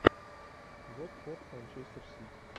вот форд манчестер сити